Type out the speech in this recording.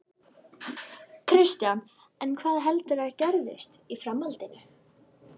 Kristján: En hvað heldurðu að gerist í framhaldinu?